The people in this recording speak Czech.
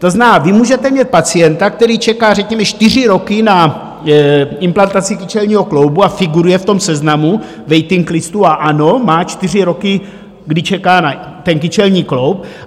To znamená, vy můžete mít pacienta, který čeká řekněme čtyři roky na implantaci kyčelního kloubu a figuruje v tom seznamu waiting listu, a ano, má čtyři roky, kdy čeká na ten kyčelní kloub.